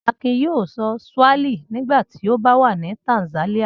Akin yóò sọ Swahili nígbà tí ó bá wà ní Tanzania.